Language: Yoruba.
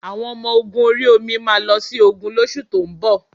Àwọn Ọmọ ogun ori omi máa lọ sí ogun lóṣù tó ń bọ̀